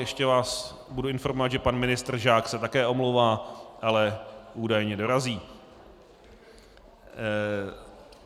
Ještě vás budu informovat, že pan ministr Žák se také omlouvá, ale údajně dorazí.